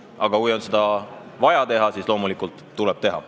Aga kui on vaja, siis loomulikult tuleb seda teha.